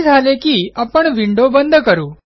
हे झाले की आपण विंडो बंद करू